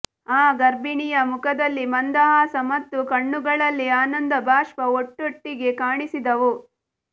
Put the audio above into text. ಆ ಗರ್ಭಿಣಿಯ ಮುಖದಲ್ಲಿ ಮಂದಹಾಸ ಮತ್ತು ಕಣ್ಣುಗಳಲ್ಲಿ ಆನಂದಭಾಷ್ಪ ಒಟ್ಟೊಟ್ಟಿಗೆ ಕಾಣಿಸಿದವು